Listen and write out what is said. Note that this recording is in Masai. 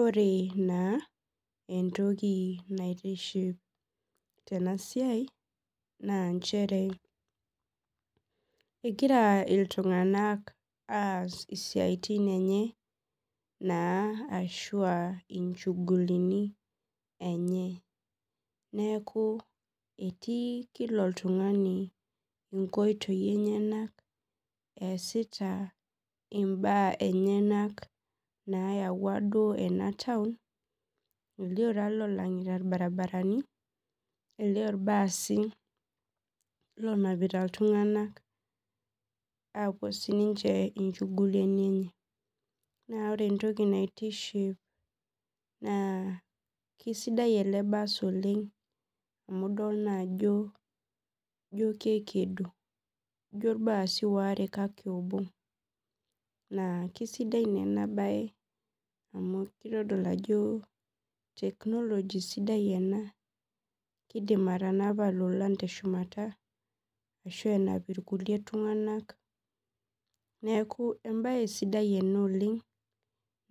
Ore na entoki naitiship tenasiai na nchere egira ltunganak aas isiatin enye na ashu a inchugulini enye neaku etii kila oltungani inkoitoi enyenak easita mbaa enyenak nayawua enataun elio lolongita irbaribarani elio irbaasi onapita ltunganak apuo sincheinchugulini enye na ore entoki naitiship na kesidai eke bass oleng amu ijo kekedo ijo irbaasi waare kake obo na kesidai enabae amu kitadolu ajo technology sidai enakidimi atanapa lolan teshumata ashu enap irkulie tunganak neaku embae sidai ena oleng